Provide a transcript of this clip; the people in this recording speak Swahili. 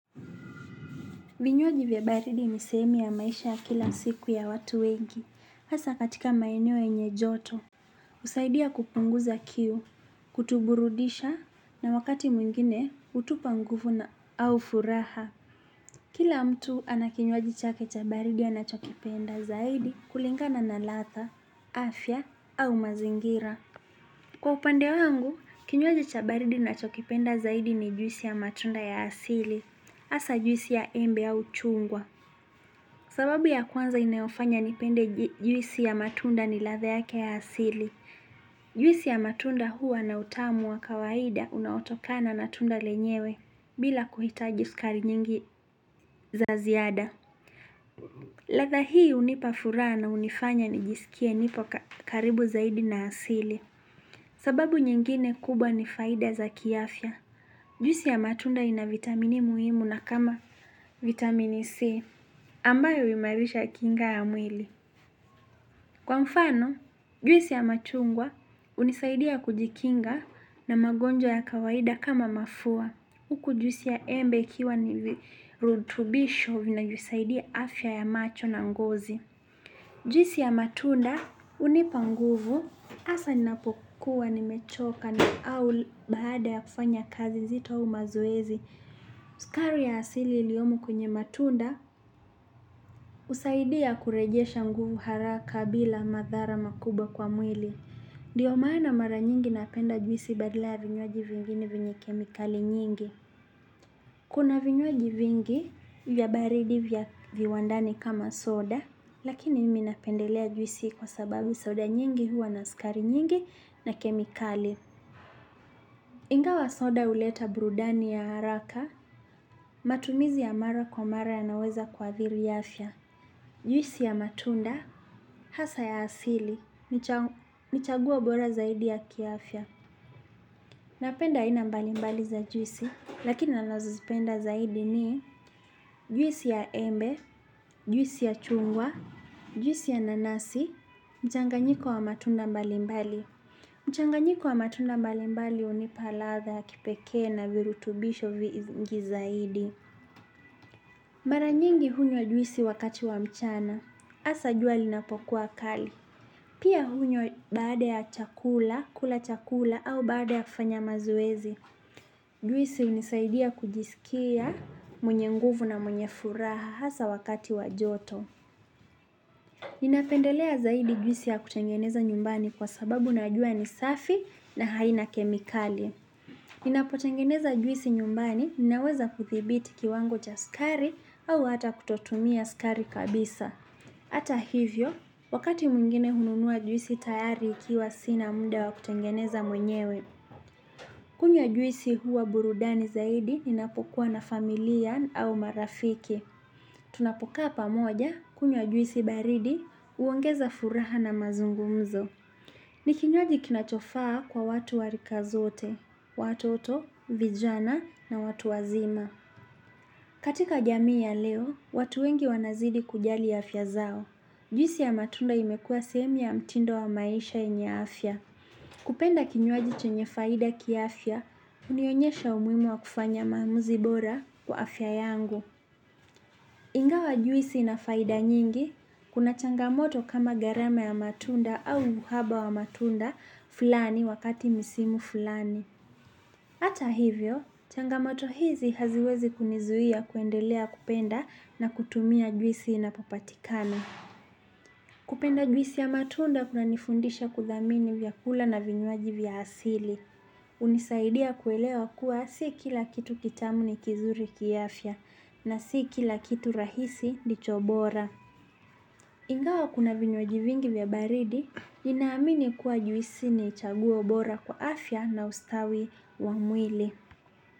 Vinywaji vya baridi ni sehemu ya maisha ya kila siku ya watu wengi, hasa katika maeneo yenye joto, husaidia kupunguza kiu, kutuburudisha na wakati mwingine hutupa nguvu na au furaha. Kila mtu anakinywaji chake cha baridi anachokipenda zaidi kulingana na ladha, afya au mazingira. Kwa upande wangu, kinywaji cha baridi ninachokipenda zaidi ni juisi ya matunda ya asili, hasa juisi ya embe au chungwa. Sababu ya kwanza inayofanya nipende juisi ya matunda ni ladha yake ya asili. Juisi ya matunda huwa na utamu wa kawaida unaotokana na tunda lenyewe bila kuhitaji sukari nyingi za ziada. Ladha hii hunipa furaha na hunifanya nijisikie nipo karibu zaidi na asili. Sababu nyingine kubwa ni faida za kiafya. Juisi ya matunda ina vitamini muhimu na kama vitamini C. Ambayo huimarisha kinga ya mwili. Kwa mfano, juisi ya machungwa unisaidia kujikinga na magonjwa ya kawaida kama mafua. Huku juisi ya embe ikiwa ni virutubisho vinavyosaidia afya ya macho na ngozi. Juisi ya matunda hunipa nguvu asa ninapokuwa nimechoka na au baada ya kufanya kazi zito au mazoezi. Sukari ya asili iliyomo kwenye matunda husaidia kurejesha nguvu haraka bila madhara makubwa kwa mwili ndio maana mara nyingi napenda juisi badala vinywaji vingine vyenye kemikali nyingi. Kuna vinywaji vingi vya baridi vya viwandani kama soda. Lakini mmi napendelea juisi kwa sababu soda nyingi huwa na sukari nyingi na kemikali. Ingawa soda huleta burudani ya haraka. Matumizi ya mara kwa mara yanaweza kuadhiri afya. Juisi ya matunda hasa ya asili ni chaguo bora zaidi ya kiafya. Napenda aina mbalimbali za juisi. Lakini nanazozipenda zaidi ni juisi ya embe juisi ya chungwa juisi ya nanasi mchanganyiko wa matunda mbalimbali mchanganyiko wa matunda mbalimbali hunipa ladha kipekee na virutubisho vingi zaidi. Mara nyingi hunywa juisi wakati wa mchana. Asa jua linapokuwa kali. Pia hunywa baada ya chakula, kula chakula au baada ya kufanya mazoezi. Juisi unisaidia kujisikia mwenye nguvu na mwenye furaha. Hasa wakati wa joto. Ninapendelea zaidi juisi ya kutengeneza nyumbani kwa sababu najua ni safi na haina kemikali. Ninapotengeneza juisi nyumbani, ninaweza kudhibiti kiwango cha sukari au hata kutotumia sukari kabisa. Ata hivyo, wakati mwingine hununua juisi tayari ikiwa sina muda wa kutengeneza mwenyewe. Kunywa juisi huwa burudani zaidi, ninapokuwa na familia au marafiki. Tunapokaa pamoja kunywa juisi baridi uongeza furaha na mazungumzo. Ni kinywaji kinachofaa kwa watu wa rika zote, watoto, vijana na watu wazima. Katika jamii ya leo, watu wengi wanazidi kujali ya afya zao. Juisi ya matunda imekuwa sehemu ya mtindo wa maisha yenya afya. Kupenda kinywaji chenye faida kiafya, hunionyesha umuhimu wa kufanya maamuzi bora kwa afya yangu. Ingawa juisi inafaida nyingi, kuna changamoto kama gharama ya matunda au uhaba wa matunda fulani wakati misimu fulani. Ata hivyo, changamoto hizi haziwezi kunizuia kuendelea kupenda na kutumia juisi inapopatikana. Kupenda juisi ya matunda kunanifundisha kudhamini vyakula na vinywaji vya asili. Hunisaidia kuelewa kuwa si kila kitu kitamu ni kizuri kiafya na si kila kitu rahisi ndicho bora. Ingawa kuna vinywaji vingi vya baridi, ninaamini kuwa juisi ni chaguo bora kwa afya na ustawi wa mwili.